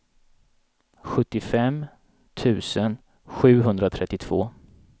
sjuttiofem tusen sjuhundratrettiotvå